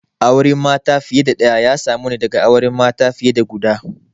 Auren mata fiye da ɗaya ya samu ne daga auren mata fiye da guda